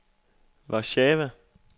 Warszawa